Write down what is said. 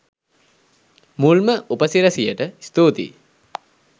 මුල්ම උප සිරැසියට ස්තූතියි.